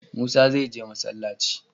Musa is going to mosque.